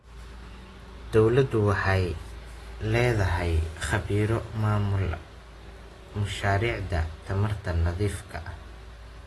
Dawladdu waxay la'dahay khabiiro maamula mashaariicda tamarta nadiifka ah.